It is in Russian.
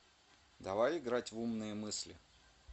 давай играть в умные мысли